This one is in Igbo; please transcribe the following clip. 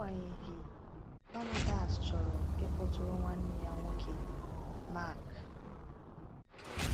Agbanyeghị, Barnabas chọrọ ịkpọtụrụ nwanne ya nwoke Mark.